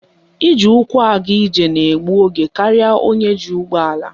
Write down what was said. Iji ụkwụ aga ije na egbu oge karịa onye ji ụgbọala